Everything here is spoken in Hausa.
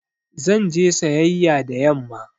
Zan je sayayƴa da yamma